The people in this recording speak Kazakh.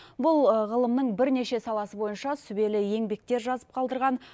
бұл ғылымның бірнеше саласы бойынша сүбелі еңбектер жазып қалдырған